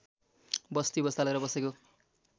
बस्ती बसालेर बसेको